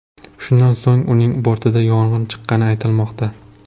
Shundan so‘ng uning bortida yong‘in chiqqani aytilmoqda.